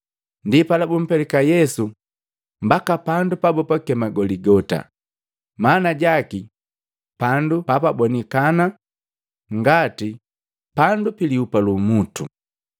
Ndipala, bumpelika Yesu mbaka pandu pabakema Goligota, maana jaki, pandu papabonikana ngati “Pandu piliupa lu umutu.”